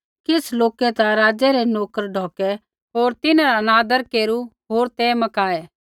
किछ़ लोकै ता राज़ै रै नोकर ढौकै होर तिन्हरा अनादर केरू होर ते मकाऐ